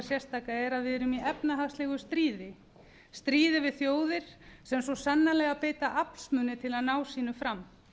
sérstaka er það að við erum í efnahagslegu stríði stríði við þjóðir sem svo sannarlega beita aflsmun til að ná sínu fram